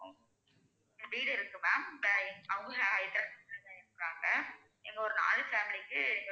வீடு இருக்கு ma'am அவங்க ஹைதராபாத்ல இருக்காங்க. இங்க ஒரு நாலு family க்கு,